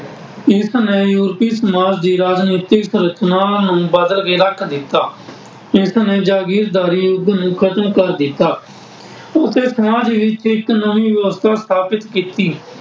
ਇਸਨੇ ਯੂਰਪੀ ਸਮਾਜ ਦੀ ਰਾਜਨੀਤਿਕ ਰਚਨਾ ਨੂੰ ਬਦਲ ਕੇ ਰੱਖ ਦਿੱਤਾ। ਇਸਨੇ ਜਾਗੀਰਦਾਰੀ ਯੁੱਗ ਨੂੰ ਖਤਮ ਕਰ ਦਿੱਤਾ ਅਤੇ ਫਰਾਂਸ ਵਿੱਚ ਇੱਕ ਨਵੀਂ ਵਿਵਸਥਾ ਸਥਾਪਤ ਕੀਤੀ।